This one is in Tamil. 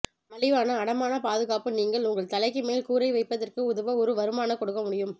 மலிவான அடமான பாதுகாப்பு நீங்கள் உங்கள் தலைக்கு மேல் கூரை வைப்பதற்கு உதவ ஒரு வருமான கொடுக்க முடியும்